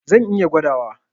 Zan iya gwadawa.